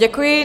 Děkuji.